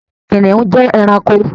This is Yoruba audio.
Kìnìún jẹ́ ẹranko.